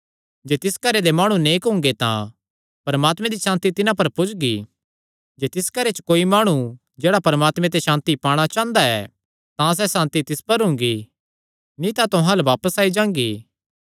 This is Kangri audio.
जे तिस घरे दे माणु नेक हुंगे तां परमात्मे दी सांति तिन्हां पर पुज्जगी जे तिस घरे च कोई माणु जेह्ड़ा परमात्मे ते सांति पाणा चांह़दा ऐ तां सैह़ सांति तिस पर हुंगी नीं तां तुहां अल्ल बापस आई जांगी